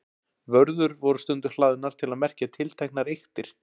Vörður voru stundum hlaðnar til að merkja tilteknar eyktir.